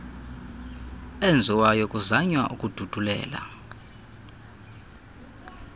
enziwayo kuzanywa ukududulela